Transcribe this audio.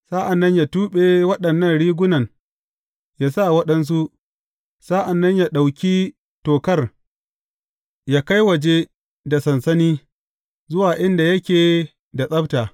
Sa’an nan yă tuɓe waɗannan rigunan yă sa waɗansu, sa’an nan yă ɗauki tokar yă kai waje da sansani zuwa inda yake da tsabta.